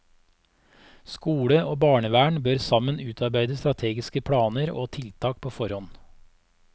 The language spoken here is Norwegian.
Skole og barnevern bør sammen utarbeide strategiske planer og tiltak på forhånd.